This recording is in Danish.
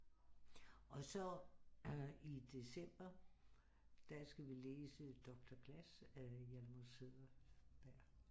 Og så i december der skal vi læse Doktor Glas af Hjalmar Söderberg